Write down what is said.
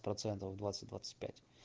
процентов двадцать двадцать пять